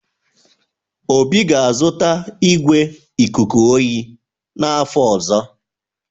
Obi ga-azụta igwé ikuku oyi n'afọ ọzọ.